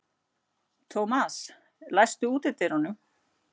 Thomas, læstu útidyrunum.